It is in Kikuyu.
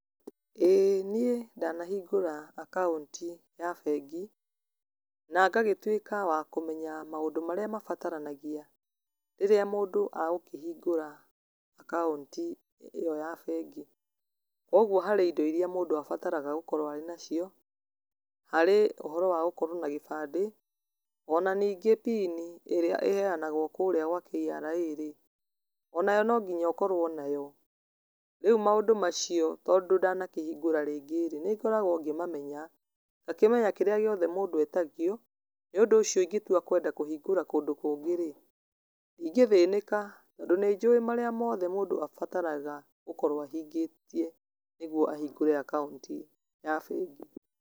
ĩĩ niĩ ndanahingũra akaunti ya bengi, na ngagĩtuĩka wa kũmenya maũndũ marĩa mabataranagia, rĩrĩa mũndũ agũkĩhingũra akaunti ĩyo ya bengi, ũguo harĩ indo irĩa mũndũ abataraga gũkorwo arĩ nacio, harĩ ũhoro wa gũkorwo na gĩbandĩ, ona ningĩ pin ĩrĩa ĩheyanagwo kũrĩa gwa KRA rĩ, onayo no nginya ũkorwo nayo, rĩu maũndũ macio, tondũ ndanakĩhingũra rĩngĩ rĩ, nĩ ngoragwo ngĩmamenya, ngakĩmenya kĩrĩa gĩothe mũndũ etagio, nĩ ũndũ ũcio ingĩtua gwenda kũhingũra kũndũ kũngĩ rĩ, ndingĩthĩnĩka, tondũ nĩ njũwĩ marĩa mothe mũndũ abataraga gũkorwo ahingĩtie, nĩguo ahingũre akaunti ya bengi.